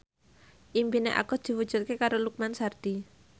impine Agus diwujudke karo Lukman Sardi